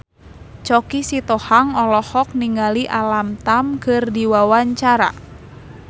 Choky Sitohang olohok ningali Alam Tam keur diwawancara